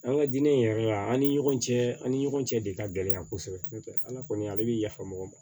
An ka diinɛ in yɛrɛ an ni ɲɔgɔn cɛ an ni ɲɔgɔn cɛ de ka gɛlɛn yan kosɛbɛ n'o tɛ ala kɔni ale bɛ yafa mɔgɔ ma